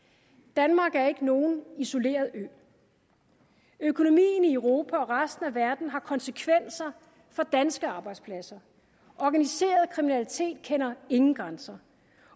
danmark er ikke nogen isoleret ø økonomien i europa og resten af verden har konsekvenser for danske arbejdspladser organiseret kriminalitet kender ingen grænser